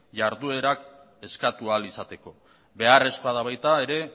jarduerak eskatu ahal izateko beharrezkoa da baita ere